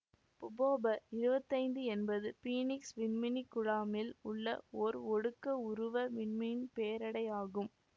புபொப இருவத்தைந்து என்பது பீனிக்சு விண்மீன் குழாமில் உள்ள ஓர் ஒடுக்க உருவ விண்மீன் பேரடை ஆகும்